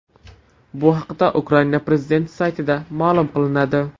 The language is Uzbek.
Bu haqda Ukraina prezidenti saytida ma’lum qilinadi .